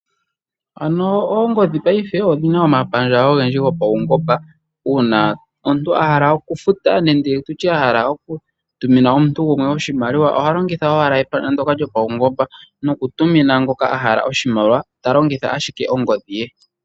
Oongodhi dhopeke payife odhina omapandja ogendji gopawugomba nuuna omuntu ngele ahala okufuta nenge okutuma oshimaliwa omuntu ohalongitha owala epandja lyopawugomba totumu tolongitha ashike ongodhi yoye yopeke.